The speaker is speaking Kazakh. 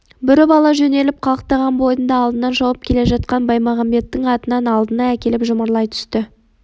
бүріп ала жөнеліп қалықтаған бойында алдынан шауып келе жатқан баймағамбеттің атының алдына әкеліп жұмарлай түсті